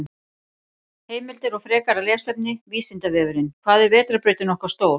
Heimildir og frekara lesefni: Vísindavefurinn: Hvað er vetrarbrautin okkar stór?